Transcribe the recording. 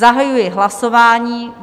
Zahajuji hlasování.